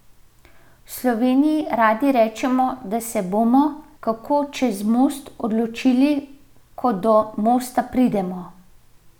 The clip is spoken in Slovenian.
V Sloveniji radi rečemo, da se bomo, kako čez most, odločili, ko do mosta pridemo.